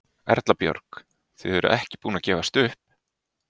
Erla Björg: Þið eruð ekki búin að gefast upp?